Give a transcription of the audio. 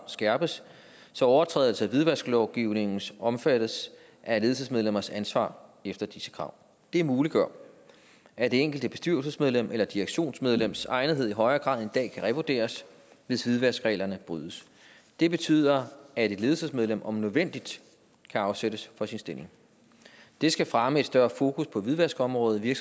skærpes så overtrædelse af hvidvasklovgivningen omfattes af ledelsesmedlemmers ansvar efter disse krav det muliggør at det enkelte bestyrelsesmedlems eller direktionsmedlems egnethed i højere grad end dag kan revurderes hvis hvidvaskreglerne brydes det betyder at et ledelsesmedlem om nødvendigt kan afsættes fra sin stilling det skal fremme et større fokus på hvidvaskområdet i